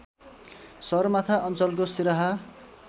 सगरमाथा अञ्चलको सिराहा